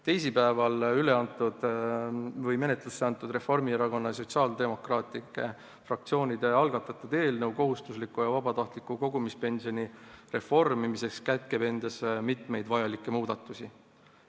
Teisipäeval menetlusse antud Reformierakonna ja Sotsiaaldemokraatliku Erakonna fraktsiooni algatatud eelnõu kohustusliku ja vabatahtliku kogumispensioni reformimiseks kätkeb endas mitmeid vajalikke muudatusi.